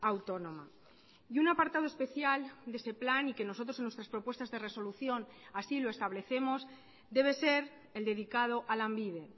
autónoma y un apartado especial de ese plan y que nosotros en nuestras propuestas de resolución así lo establecemos debe ser el dedicado a lanbide